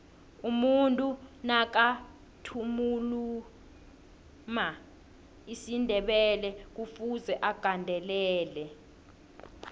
umuntu nakathuluma isindebelekufuze agandelele